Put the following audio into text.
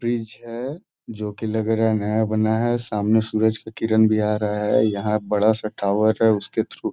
Bridge है जो कि लग रहा है नया बना है सामने सूरज की किरण भी आ रहा है। यहाँ बड़ा सा टावर है उसके थ्रु --